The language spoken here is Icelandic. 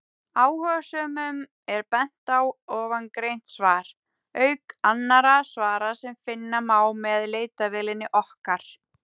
Áhugasömum er bent á ofangreint svar, auk annarra svara sem finna má með leitarvélinni okkar.